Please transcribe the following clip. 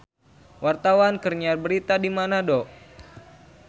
Wartawan keur nyiar berita di Manado